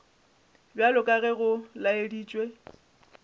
bjalo ka ge go laeditšwe